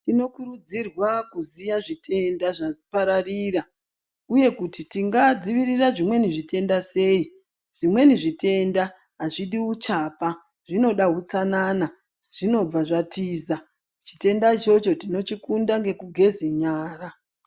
Tinokurudzirwa kuziya zvitenda zvapararira uye kuti tingadzivirira zvitenda seyi zvimweni zvitenda hazvidi uchapa zvinoda utsanana zvinobva zvatiza chitenda ichocho tinochikunda ngokugeze nyara.